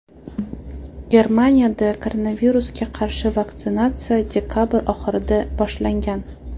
Germanida koronavirusga qarshi vaksinatsiya dekabr oxirida boshlangan.